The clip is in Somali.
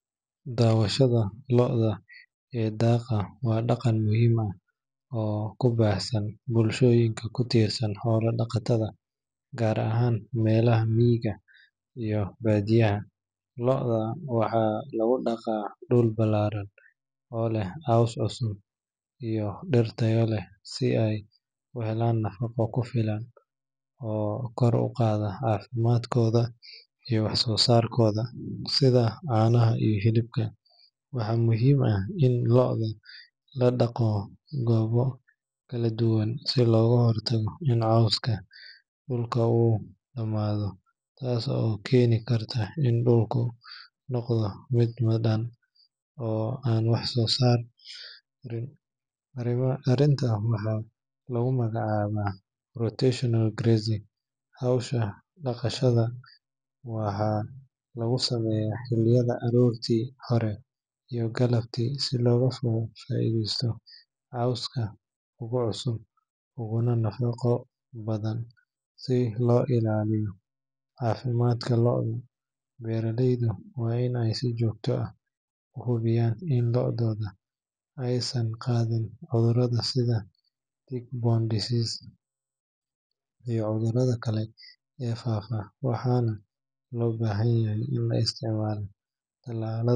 Daawashada lo’da ee daaqa waa dhaqan muhiim ah oo ku baahsan bulshooyinka ku tiirsan xoolo-dhaqatada gaar ahaan meelaha miyiga iyo baadiyaha. Lo'da waxaa lagu daaqaa dhul ballaaran oo leh caws cusub iyo dhir tayo leh si ay u helaan nafaqo ku filan oo kor u qaada caafimaadkooda iyo wax-soosaarkooda sida caanaha iyo hilibka. Waxaa muhiim ah in lo’da la daaqo goobo kala duwan si looga hortago in cawska dhulka uu dhamaado taas oo keeni karta in dhulku noqdo mid madhan oo aan waxba soo saarin, arrintan waxaa lagu magacaabaa rotational grazing. Hawsha daaqashada waxaa lagu sameeyaa xilliyada aroortii hore iyo galabtii si looga faa’iideysto cawska ugu cusub uguna nafaqo badan. Si loo ilaaliyo caafimaadka lo’da, beeralayda waa in ay si joogto ah u hubiyaan in lo'du aysan qaadin cudurrada sida tick-borne diseases iyo cudurada kale ee faafa, waxaana loo baahan yahay in la isticmaalo tallaalada.